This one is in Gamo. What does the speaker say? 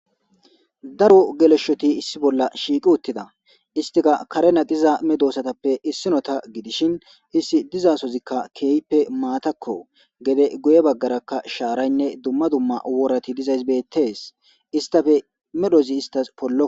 Daro geleshoti issi bolla shiiqi uttida. Istika karena aqqida medossatappe issinota gidishin issi diza sozikka keeyippe maatakko .Gede guye baggarakka shaaraynne dumma dumma worati dizays bettes. Istappe medhozi istas pollo.